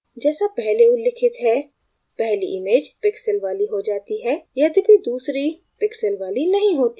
जैसा पहले उल्लिखित है पहली image पिक्सेल वाली हो जाती है यद्यपि दूसरी पिक्सेल वाली नहीं होती है